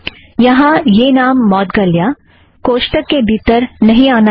यहाँ यह नाम मौदगल्या कोष्ठक के भीतर नहीं आना चाहिए